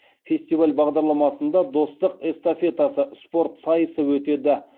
фестиваль бағдарламасында достық эстафетасы спорт сайысы өтеді